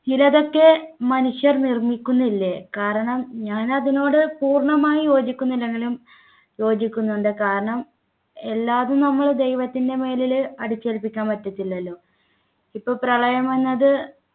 ചിലതൊക്കെ മനുഷ്യർ നിർമ്മിക്കുന്നില്ലേ കാരണം ഞാൻ അതിനോട് പൂർണ്ണമായും യോജിക്കുന്നില്ലേങ്കിലും യോജിക്കുന്നുണ്ട് കാരണം എല്ലാമെന്നത്തും നമ്മൾ ദൈവത്തിൻ്റെ മേലിൽ അടിച്ചേൽപ്പിക്കാൻ പറ്റത്തില്ലല്ലോ ഇപ്പൊ പ്രളയമെന്നത്